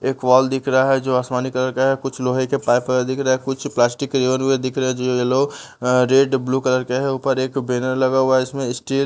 एक वॉल दिख रहा है जो आसमानी कलर का है कुछ लोहे के पाइप वगैरह दिख रहा है कुछ प्लास्टिक रिबन वगैरह दिख रहे हैं जो येलो रेड ब्लू कलर के हैं ऊपर एक बेनर लगा हुआ है इसमें स्टील --